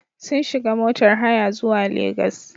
Sun shiga motar haya zuwa Legas.